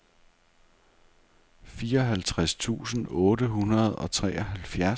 fireoghalvtreds tusind otte hundrede og treoghalvfjerds